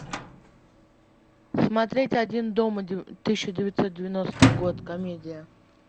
смотреть один дома тысяча девятьсот девяностый год комедия